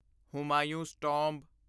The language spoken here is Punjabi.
ਹੁਮਾਯੂੰ'ਸ ਟੋਂਬ